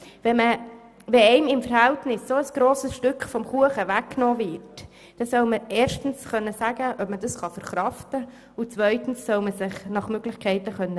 Wenn einem ein verhältnismässig so grosses Stück des Kuchens weggenommen wird, soll man erstens sagen können, ab man dies verkraftet, und zweitens soll man sich nach Möglichkeit wehren können.